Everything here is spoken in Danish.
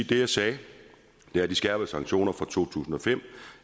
det jeg sagde er at de skærpede sanktioner fra to tusind og fem